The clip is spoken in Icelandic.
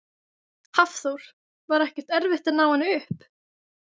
Hafþór: Var ekkert erfitt að ná henni upp?